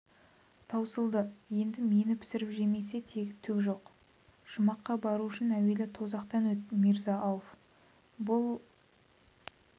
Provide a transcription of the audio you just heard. таусылды енді мені пісіріп жемесе тегі түк жоқ жұмаққа бару үшін әуелі тозақтан өт мирза-ауф бұл